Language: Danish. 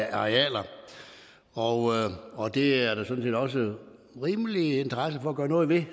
arealer og og det er der sådan set også en rimelig interesse for at gøre noget ved